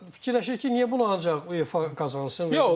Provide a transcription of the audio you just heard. Fikirləşir ki, niyə bunu ancaq UEFA qazansın.